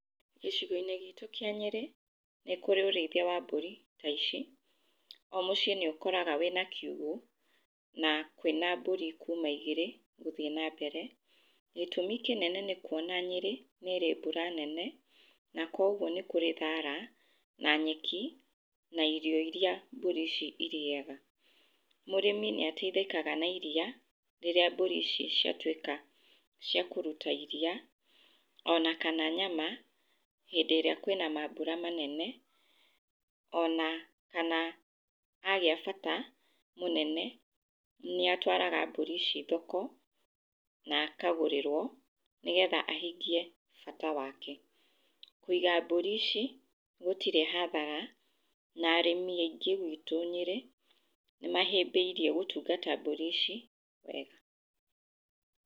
Gĩcigo-inĩ gitũ kĩa Nyĩrĩ nĩkũrĩ ũrĩithia wa mbũri ta ici, o mũci nĩ ũkoraga wĩna kiugũ na kwĩna mbũri kuma igĩrĩ gũthiĩ na mbere. Gĩtũmi kĩnene nĩkũona Nyĩrĩ nĩ ĩrĩ mbura nene na kũoguo nĩkũrĩ thara na nyeki na irio iria mburi ici irĩaga. Mũrĩmi nĩ ateithĩkaga na iria rĩrĩa mbũri ici ciatuĩka ciakũruta iria onakana nyama hĩndĩ ĩrĩa kwĩna mambura manene ona kana agĩa bata mũnene nĩatwaraga mbũri ici thoko na akagũrĩrwo nĩgetha ahingie bata wake. Kũiga mbũri ici gũtirĩ hathara na arĩmi aingĩ gwitũ Nyĩrĩ nĩmahĩmbĩirie gũtungata mbũri ici wega